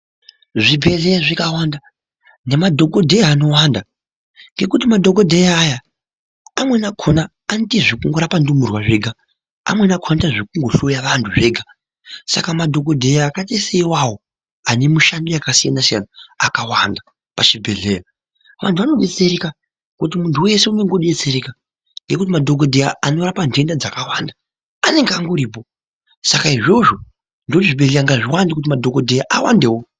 Zvibhehleya zvikawanda nemadhokodheya anowanda ngekuti madhokodheya aya amweni akona anoita zvekurapa ndururwa zvega, amweni akona anoita zvekungo hloya vantu zvega. Saka madhokodheya iwawo ane mushando yakasiyana siyana akawanda pachibhehleya vantu vanodetsereka ngekuti muntu weshe unodetsereka ngekuti madhokodheya anorapa ntenda dzakawanda anenge angoripo saka izvozvo ndoti zvibhehleya zviwande kiti madhokodheya awandewo.